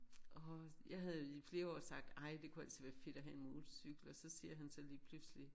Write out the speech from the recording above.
Og jeg havde i flere år sagt ej det kunne altså være fedt at have en motorcykel og så siger han så lige pludselig